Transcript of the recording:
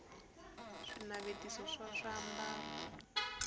swinavetiso swa swiambalo